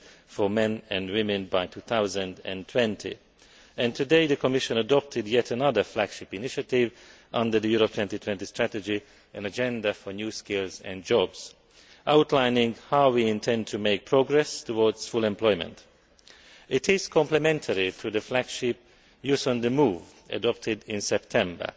for men and women by 2020, and today, the Commission adopted yet another flagship initiative under the Europe 2020 strategy an agenda for new skills and jobs' outlining how we intend to make progress towards full employment. It is complementary to the flagship Youth on the move' adopted in September.